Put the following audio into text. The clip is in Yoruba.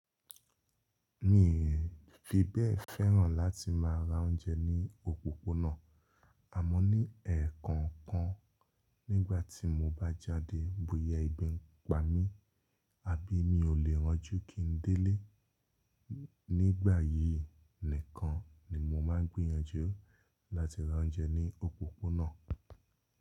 Mi n fibẹ̀ fẹ́ràn láti má ra oúnjẹ ní òpópónà, àmọ́ ní ẹ̀ẹ̀kọ̀ọ̀kan nígbà tí mo bá jáde bóyá ebi ń pa mí àbí mi ò lè rọjú kí n délé, nígbà yìí nìkan ni mo máa gbìyànjú láti ra oúnjẹ ní òpópónà.